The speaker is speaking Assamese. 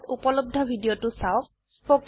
এই লিঙ্কত উপলব্ধ ভিডিওটো চাওক